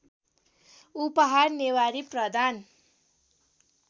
उपहार नेवारी प्रधान